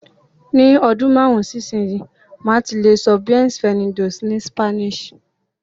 Ni ọdún márùn-ún sí ìsinyìí, màá ti lè sọ "Bienvenidos" ni Spanish